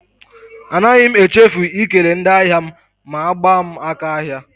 Anaghị m echefu ikele ndị ahịa m ma gbaa m aka ahịa.